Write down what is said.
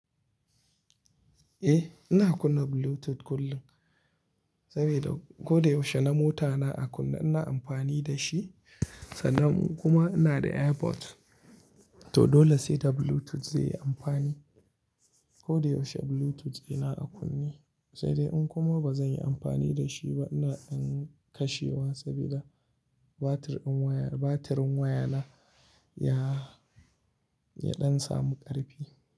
Eh, ina kunna Bluetooth kullum sabida ko da yaushe na mota na a kunne ina amfani da shi sannan kuma ina da AirPod. To dole sai da Bluetooth zai yi amfani. Ko da yaushe Bluetooth ina a kunne, sai dai in kuma ba zan yi amfani da shi ba ina ɗan kashewa sabida batir ɗin waya, batirin waya na ya, ya ɗan samu ƙarfi.